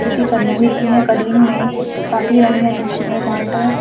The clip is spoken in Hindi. नीचे कलीन बिछी है कलीन में काफी रंग है जिसमें माल्टा--